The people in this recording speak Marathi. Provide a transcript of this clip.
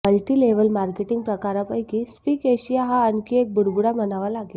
मल्टी लेव्हल मार्केटिंग प्रकारापैकी स्पीक एशिया हा आणखी एक बुडबुडा म्हणावा लागेल